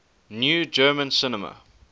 new german cinema